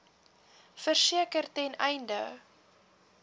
verseker ten einde